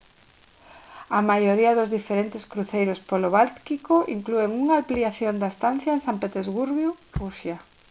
a maioría dos diferentes cruceiros polo báltico inclúen unha ampliación da estancia en san petersburgo rusia